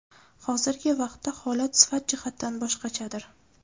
Hozirgi vaqtda holat sifat jihatdan boshqachadir.